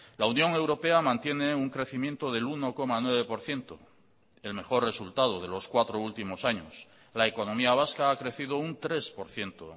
la unión europea mantiene un crecimiento del uno coma nueve por ciento el mejor resultado de los cuatro últimos años la economía vasca ha crecido un tres por ciento